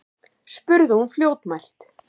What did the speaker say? spurði hún fljótmælt.